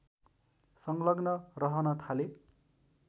सङ्लग्न रहन थाले